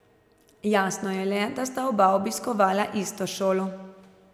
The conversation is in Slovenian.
Jasno je le, da sta oba obiskovala isto šolo.